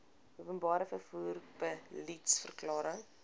openbare vervoer beliedsverklaring